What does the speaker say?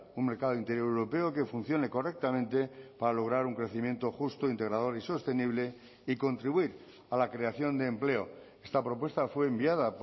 un mercado interior europeo que funcione correctamente para lograr un crecimiento justo integrador y sostenible y contribuir a la creación de empleo esta propuesta fue enviada